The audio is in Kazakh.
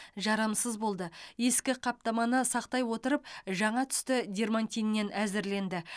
жарамсыз болды ескі қаптаманы сақтай отырып жаңа түсті дермантиннен әзірленді